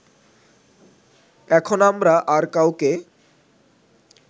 এখন আমরা আর কাউকে